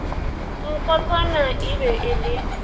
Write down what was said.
nkotsana e be e le